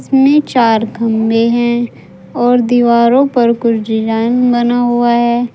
इसमें चार खंबे हैं और दीवारों पर कुछ डिजाइन बना हुआ है।